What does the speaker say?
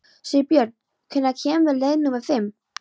Sigbjörn, hvenær kemur leið númer fimm?